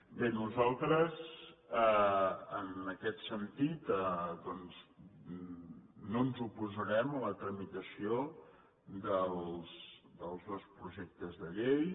bé nosaltres en aquest sentit doncs no ens oposarem a la tramitació dels dos projectes de llei